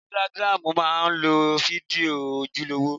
Ísítágírámù má ń lo fídíò ojúlówó